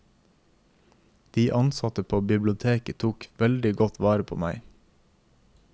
De ansatte på biblioteket tok veldig godt vare på meg.